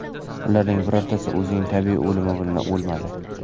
Ularning birortasi o‘zining tabiiy o‘limi bilan o‘lmadi.